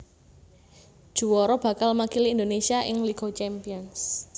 Juwara bakal makili Indonésia ing Liga Champions